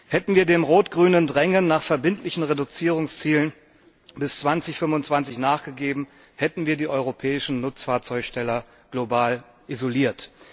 Hätten wir dem rot grünen Drängen nach verbindlichen Reduzierungszielen bis 2025 nachgegeben, so hätten wir die europäischen Nutzfahrzeughersteller global isoliert.